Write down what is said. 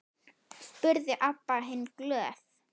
spurði Abba hin glöð.